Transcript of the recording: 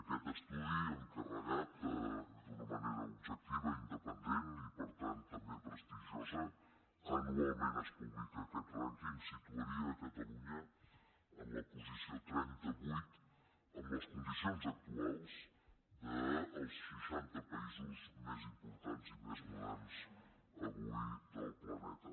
aquest estudi encarregat d’una manera objectiva i independent i per tant també prestigiosa anualment es publica aquest rànquing situaria catalunya en la posició trenta vuit en les condicions actuals dels seixanta països més importants i més moderns avui del planeta